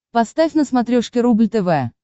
поставь на смотрешке рубль тв